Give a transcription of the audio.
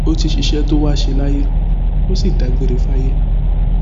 ó ti ṣiṣẹ tó wàá ṣe láyé ó sì dágbére fáyé